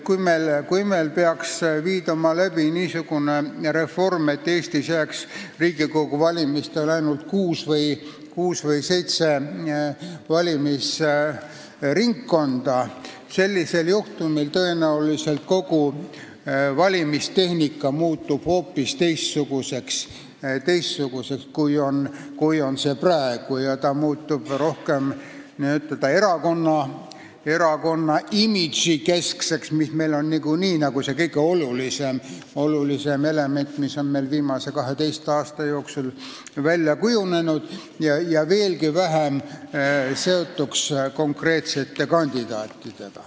Kui meil peaks viidama läbi niisugune reform, et Riigikogu valimisel jääks alles ainult kuus või seitse valimisringkonda, sellisel juhul muutuks kogu valimistehnika tõenäoliselt hoopis teistsuguseks, kui see on praegu, see muutuks rohkem erakonna imago keskseks, mis niikuinii on kõige olulisem element, mis on viimase 12 aasta jooksul välja kujunenud, ja see oleks veelgi vähem seotud konkreetsete kandidaatidega.